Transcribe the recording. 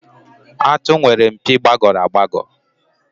Àtụ̀ nwere mpi gbagọrọ agbagọ.